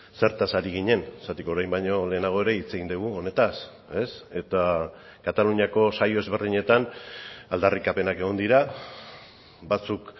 zertaz ari ginen zergatik orain baino lehenago ere hitz egin dugu honetaz eta kataluniako saio ezberdinetan aldarrikapenak egon dira batzuk